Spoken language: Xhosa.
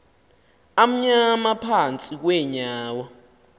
amnyama phantsi kweenyawo